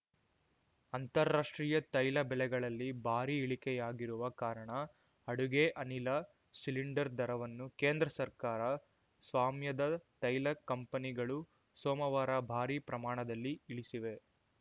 ಅಂತಾರಾಷ್ಟ್ರೀಯ ತೈಲ ಬೆಲೆಗಳಲ್ಲಿ ಭಾರಿ ಇಳಿಕೆಯಾಗಿರುವ ಕಾರಣ ಅಡುಗೆ ಅನಿಲ ಸಿಲಿಂಡರ್‌ ದರವನ್ನು ಕೇಂದ್ರ ಸರ್ಕಾರ ಸ್ವಾಮ್ಯದ ತೈಲ ಕಂಪನಿಗಳು ಸೋಮವಾರ ಭಾರೀ ಪ್ರಮಾಣದಲ್ಲಿ ಇಳಿಸಿವೆ